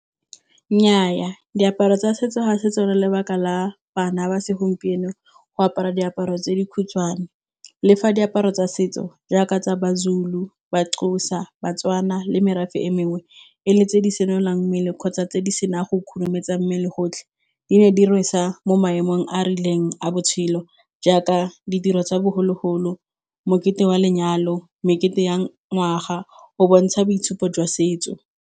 Nnyaa diaparo tsa setso ga se tsone le lebaka la bana ba segompieno go apara diaparo tse dikhutshwane. Le fa diaparo tsa setso jaaka tsa Mazulu, Maxhosa, Batswana le merafe e mengwe. E le tse di senolang mmele kgotsa tse di sena a go khurumetsa mmele gotlhe. Di ne di rwesa mo maemong a a rileng a botshelo jaaka ditiro tsa bogologolo, mokete wa lenyalo, mekete ya ngwaga, o bontsha boitshupo jwa setso.